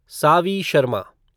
Saavi Sharma